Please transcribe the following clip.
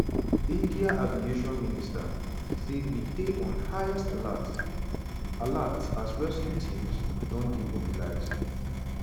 india aviation minister say "we dey on highest alert" alert" as "rescue teams don dey mobilised".